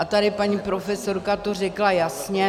A tady paní profesorka to řekla jasně.